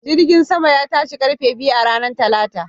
Jirgin saman ya tashi ƙarfe biyu a ranar Talata